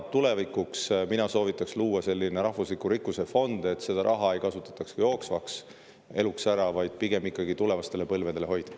Tulevikuks soovitaks ma luua rahvusliku rikkuse fondi, et seda ei kasutataks jooksvaks eluks ära, vaid pigem hoitaks tulevastele põlvedele.